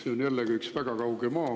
See on jällegi üks väga kauge maa.